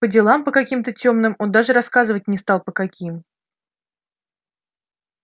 по делам по каким-то тёмным он даже рассказывать не стал по каким